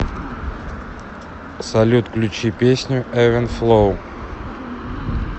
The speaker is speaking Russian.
салют включи песню эвен флоу